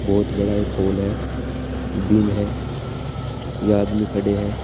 बहुत बड़ा एक हॉल है बिम है यहां आदमी खड़े हैं।